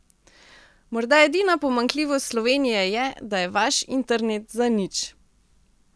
Morda edina pomanjkljivost Slovenije je, da je vaš internet zanič.